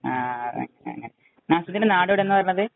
ആ ,ആ അങ്ങനെ. നാസിമുദ്ദീന്‍റെ നാട് എവിടെന്നാ പറഞ്ഞത്?